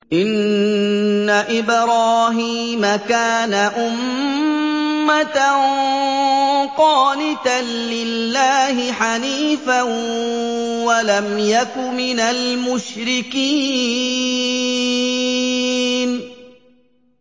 إِنَّ إِبْرَاهِيمَ كَانَ أُمَّةً قَانِتًا لِّلَّهِ حَنِيفًا وَلَمْ يَكُ مِنَ الْمُشْرِكِينَ